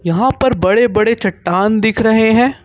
यहाँ पर बड़े बड़े चट्टान दिख रहे हैं।